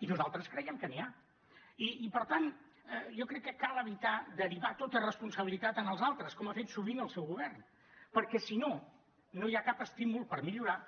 i nosaltres creiem que n’hi ha i per tant jo crec que cal evitar derivar tota responsabilitat en els altres com ha fet sovint el seu govern perquè si no no hi ha cap estímul per millorar